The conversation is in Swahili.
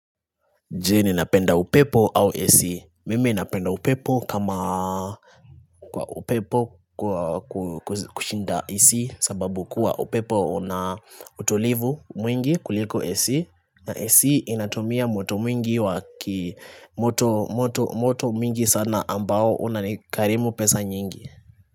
Je ninapenda upepo au AC? Mimi napenda upepo kama upepo kwa kushinda AC sababu kuwa upepo una utulivu mwingi kuliko AC na AC inatumia moto mwingi waki moto moto moto mwingi sana ambao unanikarimu pesa nyingi.